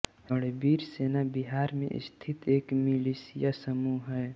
रणवीर सेना बिहार में स्थित एक मिलिशिया समूह है